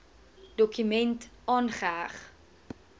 dokument aangeheg